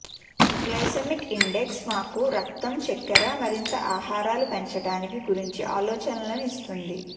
glycemic index మాకు రక్తం చక్కెర మరింత ఆహారాలు పెంచడానికి గురించి ఆలోచనలు ఇస్తుంది